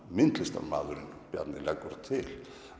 myndlistarmaðurinn Bjarni leggur til